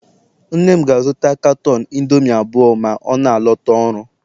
nna m ga-azụta caton indomie abụọ ma ọ na-alọta ọrụ